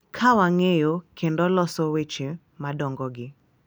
Ka wang’eyo kendo loso weche madongogi,